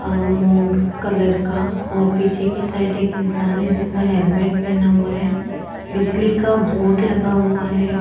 आ मूंग क कलर का और पीछे की साइड एक इंसान है जिसने हेलमेट पहना हुआ है बिजली का बोर्ड लगा हुआ है।